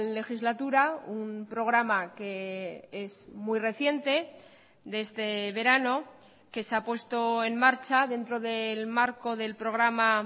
legislatura un programa que es muy reciente de este verano que se ha puesto en marcha dentro del marco del programa